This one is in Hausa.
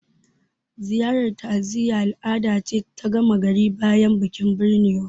Ziyarar ta'aziyya al'ada ce ta gama gari bayan bikin binnewa